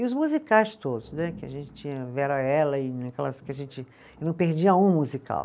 E os musicais todos né, que a gente tinha Vera Ellen, aquelas que a gente, não perdia um musical.